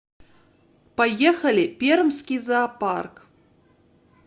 поехали пермский зоопарк